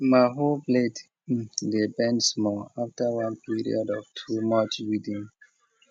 my hoe blade dey bend small after one period of too much weeding